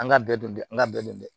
An ka bɛɛ don an ka bɛɛ dɔn dɛ